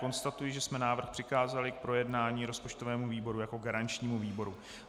Konstatuji, že jsme návrh přikázali k projednání rozpočtovému výboru jako garančnímu výboru.